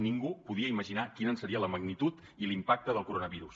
ningú podia imaginar quina seria la magnitud i l’impacte del coronavirus